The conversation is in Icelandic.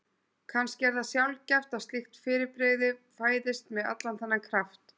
Kannski er það sjaldgæft að slíkt fyrirbrigði fæðist með allan þennan kraft.